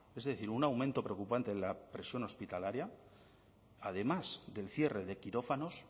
es decir un aumento preocupante en la presión hospitalaria además del cierre de quirófanos